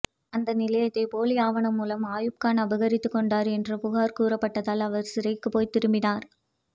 அந்த நிலத்தை போலி ஆவணம் மூலம் அயூப்கான் அபகரித்துக் கொண்டார் என்று புகார் கூறப்பட்டதால் அவர் சிறைக்குப் போய் திரும்பினார்